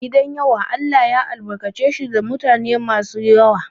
Gidan yawa Allah ya albarkace shi da mutanen gida masu yawa.